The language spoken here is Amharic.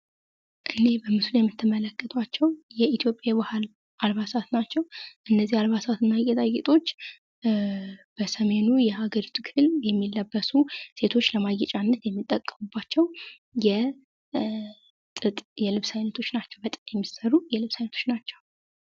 እኒህ በምስሉ ላይ የምትመለከታቸው የኢትዮጵያ የባህል አልባሳት ናቸው። እነዚህ አልባሳት እና ጌጣጌጦች በሰሜኑ የሀገሪቱ ክፍል የሚለበሱ ሴቶች ለማጌጫነት የሚጠቀሙባቸው የጥጥ የልብስ አይነቶች ናቸዉ። ከጥጥ የሚሠሩ የልብስ አይነቶች ናቸው።